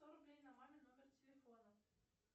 сто рублей на мамин номер телефона